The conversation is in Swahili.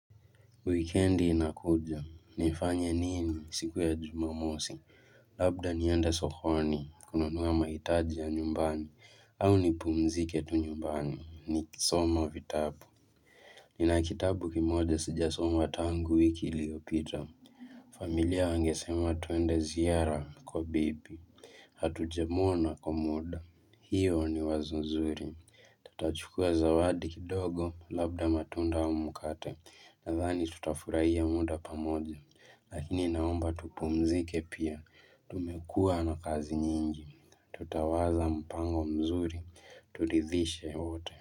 Wikendi inakuja, nifanye nini siku ya jumamosi, labda niende sokoni, kununua mahitaji ya nyumbani, au nipumzike tu nyumbani, ni kisoma vitabu. Nina kitabu kimoja sijasoma tangu wiki liyopita, familia wangesema tuende ziara kwa bibi, hatujamwona kwa muda, hiyo ni wazo nzuri. Tutachukua zawadi kidogo labda matunda au mkate Nadhani tutafurahia muda pamoja Lakini naomba tupumzike pia Tumekuwa na kazi nyingi Tutawaza mpango mzuri Turidhishe wote.